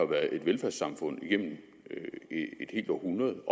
været et velfærdssamfund igennem et helt århundrede